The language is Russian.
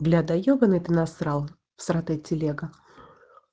бля да ёбаный ты насрал всратая телега